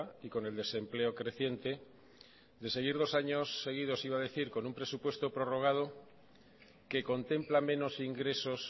y con el desempleo creciente de seguir dos años seguidos iba a decir con un presupuesto prorrogado que contempla menos ingresos